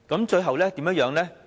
最後怎樣呢？